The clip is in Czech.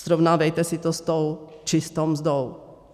Srovnávejte si to s tou čistou mzdou.